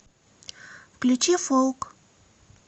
включи фолк